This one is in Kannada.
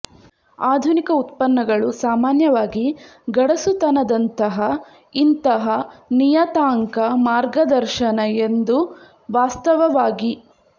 ಆಧುನಿಕ ಉತ್ಪನ್ನಗಳು ಸಾಮಾನ್ಯವಾಗಿ ಗಡಸುತನದಂತಹ ಇಂತಹ ನಿಯತಾಂಕ ಮಾರ್ಗದರ್ಶನ ಎಂದು ವಾಸ್ತವವಾಗಿ